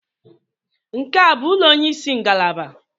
Nke a bụ onye isi ngalaba?